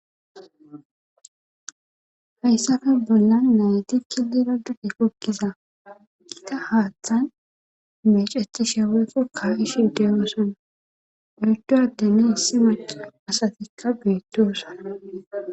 hayssafe bollan nayti kilira dude kokkiza giita haaththan meceti sheweeko ka ishi deyosana orddo addeni issi maca asatikka beettosana